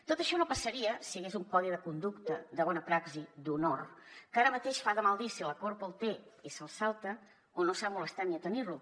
tot això no passaria si hi hagués un codi de conducta de bona praxi d’honor que ara mateix fa de mal dir si la corpo el té i se’l salta o no s’ha molestat ni a tenir lo